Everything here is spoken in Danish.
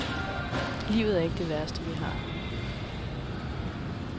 Livet er ikke det værste, vi har.